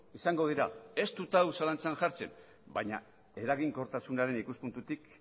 izango dira ez dut hau zalantzan jartzen baina eraginkortasunaren ikuspuntutik